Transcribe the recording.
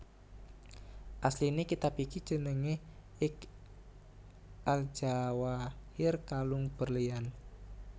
Asline kitab iki jenenge Iqd al Jawahir Kalung Berlian